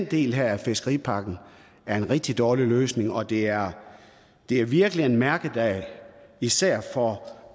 del af fiskeripakken er en rigtig dårlig løsning og det er det er virkelig en mærkedag især for